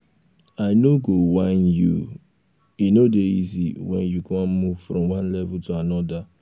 i no go whine you e no dey easy when you wan move from one level to anodir